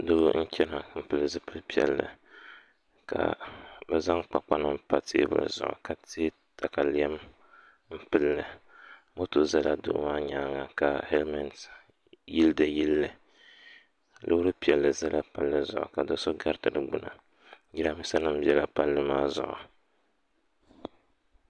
Doo n chɛna n pili zipili piɛlli ka bi zaŋ kpakpa nim pa teebuli zuɣu ka tɛ katalɛm n pilli moto ʒɛla doo maa nyaanga ka hɛlmɛnt yili di yilli loori piɛlli ʒɛla palli maa zuɣu ka do so gariti di gbuni jiranbiisa nim biɛla palli maa zuɣu